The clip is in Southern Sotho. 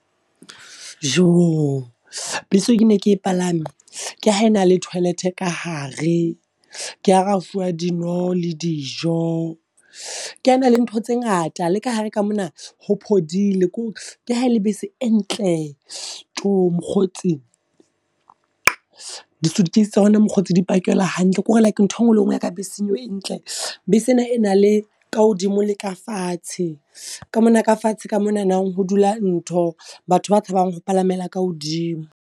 Joo! Bese eo ke ne ke palame, ke ha e na le toilet ka hare. Ke hara refuwa dino le dijo. Ke ha e na le ntho tse ngata. Le ka hare ka mona ho phodile. Kore ke hae le bese e ntle, tjo mokgotsi. Di-suitcase tsa rona mokgotsi di pakelwa hantle, kore like nthwe nngwe le e nngwe ya ka beseng eo e ntle. Bese e na e na le ka hodimo le ka fatshe, ka mona ka fatshe ka monana ho dula ntho batho ba tshabang ho palamela ka hodimo.